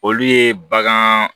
Olu ye bagan